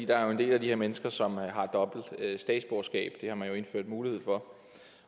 der er jo en del af de her mennesker som har dobbelt statsborgerskab det har man indført mulighed for